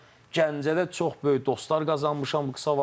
Gəncədə çox böyük dostlar qazanmışam bu qısa vaxtda.